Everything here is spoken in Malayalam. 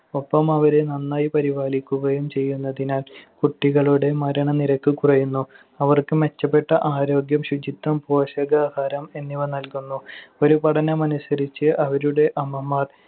ഒപ്പം അവരെ നന്നായി പരിപാലിക്കുകയും ചെയ്യുന്നതിനാൽ കുട്ടികളുടെ മരണനിരക്ക് കുറയുന്നു. അവർക്ക് മെച്ചപ്പെട്ട ആരോഗ്യം, ശുചിത്വം, പോഷകാഹാരം എന്നിവ നൽകുന്നു. ഒരു പഠനമനുസരിച്ച്, അവരുടെ അമ്മമാർ